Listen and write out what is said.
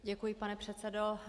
Děkuji, pane předsedo.